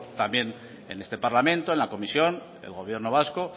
también en este parlamento en la comisión el gobierno vasco